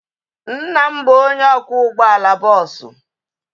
Nna m bụ onye ọkwọ ụgbọala bọọsu